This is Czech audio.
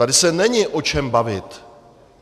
Tady se není o čem bavit.